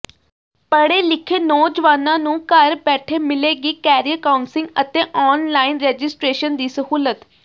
ਪੜ੍ਹੇ ਲਿਖੇ ਨੌਜਵਾਨਾਂ ਨੂੰ ਘਰ ਬੈਠੇ ਮਿਲੇਗੀ ਕੈਰੀਅਰ ਕਾਉਂਸਿਗ ਅਤੇ ਆਨਲਾਈਨ ਰਜਿਸ਼ਟੇ੍ਰਸ਼ਨ ਦੀ ਸਹੂਲਤ